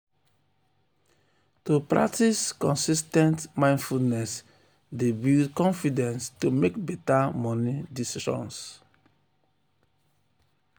to practice consis ten t mindfulness dey build confidence to mek better moni decisions.